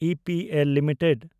EPL limited